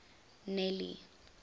nelly